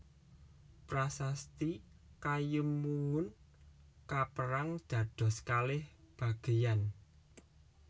Prasasti Kayumwungun kaperang dados kalih bagéyan